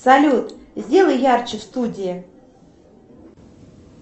салют сделай ярче в студии